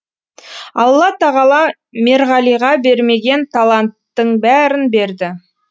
алла тағала мерғалиға бермеген таланттың бәрін берді